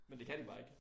Men det kan de bare ikke